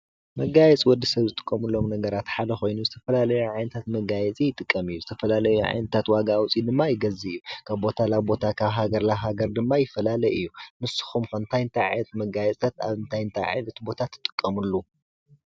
መጋየፂ ወዲሰብ ዝጥቀመሎም ነገራት ሓደ ኮይኑ ዝተፈላላየ ዓይነታት መጋየፂ ይጥቀም እዩ። ዝተፈላለየ ዓይነታት ዋጋ ኣውፅኡድማ ይገዝእ እዩ። ካብ ቦታ ናብ ቦታ ካብ ሃገር ናብ ሃገር ድማ ይፈላለ እዩ። ንስኩም ከ እንታይ እንታይ ዓይነት መጋየፅታት ኣብንምታይ ኣብምንታይ ቦታ ትጥቀምሉ?